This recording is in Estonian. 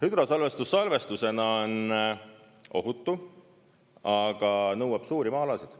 Hüdrosalvestus salvestusena on ohutu, aga nõuab suuri maa-alasid.